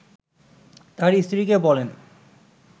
তার স্ত্রীকে বলেন